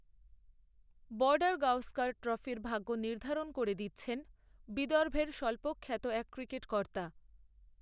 বর্ডারগাওস্কর ট্রফির ভাগ্য নির্ধারণ করে দিচ্ছেনবিদর্ভের স্বল্পখ্যাত এক ক্রিকেট কর্তা